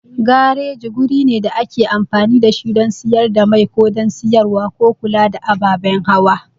Gareji guri ne da ake amfani da shi don siyar da mai ko don siyarwa ko kula da ababen hawa.